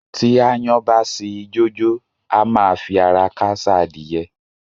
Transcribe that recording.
Tí aáyán bá ṣi ijó jó, á máa fi ara káṣá adìyẹ.